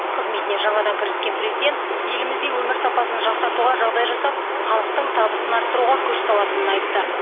қызметіне жаңадан кіріскен президент елімізде өмір сапасын жақсартуға жағдай жасап халықтың табысын арттыруға күш салатынын айтты